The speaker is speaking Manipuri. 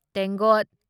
ꯇꯦꯡꯀꯣꯠ